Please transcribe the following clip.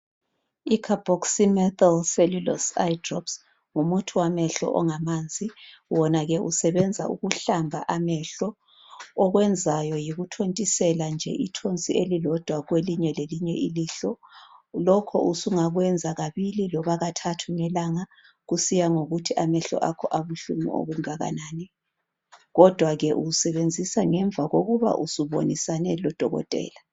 I Carboxymethyl - cellulose eye drops ngumuthi wamehlo ongamanzi. Wona ke usebenza ukuhlamba amehlo. Okwenzayo yikuthontisela nje ithonsi elilodwa kwelinyelelinye ilihlo. Lokho usungakwenza kabili loba kathathu ngelanga kusiya ngokuthi amehlo akho abuhlungu okungakanani. Kodwa ke uwusebenzisa ngemva kokuba usubonisane lodokotela.